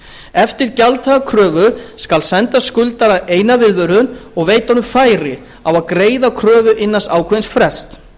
eftir gjalddaga kröfu skal senda skuldara eina viðvörun og veita honum færi á að greiða kröfu innan ákveðins frests